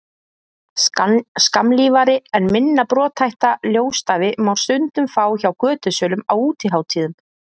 skammlífari en minna brothætta ljósstafi má stundum fá hjá götusölum á útihátíðum